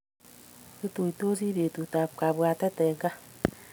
Kituitosii betut ab kapwatet eng kaa